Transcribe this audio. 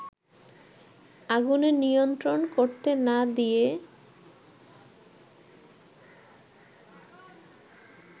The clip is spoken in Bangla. আগুনে নিয়ন্ত্রণ করতে না দিয়ে